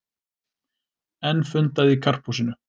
Enn fundað í Karphúsinu